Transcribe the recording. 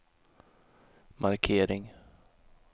markering